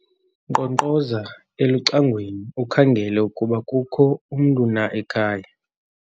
nkqonkqoza elucangweni ukhangele ukuba kukho umntu na ekhaya